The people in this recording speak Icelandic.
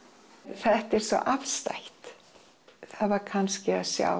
þetta er svo afstætt það var kannski að sjá